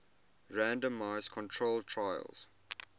randomized controlled trials